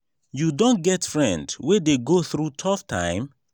you don get friend wey dey go through tough time?